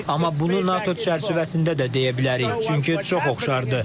Amma bunu NATO çərçivəsində də deyə bilərik, çünki çox oxşardır.